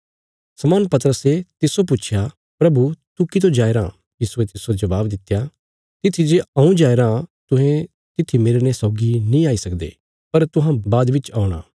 शमौन पतरसे तिस्सो पुच्छया प्रभु तू कितो जाया राँ यीशुये तिस्सो जवाब दित्या तित्थी जे हऊँ जाया राँ तुहें तित्थी मेरने सौगी नीं आई सकदे पर तुहां बाद च औणा